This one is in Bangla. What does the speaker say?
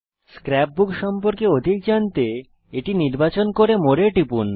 স্ক্র্যাপবুক সম্পর্কে অধিক জানতে এটি নির্বাচন করে মোরে এ টিপুন